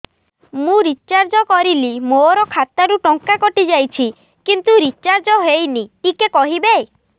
ମୁ ରିଚାର୍ଜ କରିଲି ମୋର ଖାତା ରୁ ଟଙ୍କା କଟି ଯାଇଛି କିନ୍ତୁ ରିଚାର୍ଜ ହେଇନି ଟିକେ କହିବେ